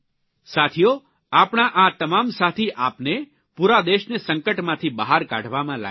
સાથીઓ આપણા આ તમામ સાથી આપને પૂરા દેશને સંકટમાંથી બહાર કાઢવામાં લાગેલા છે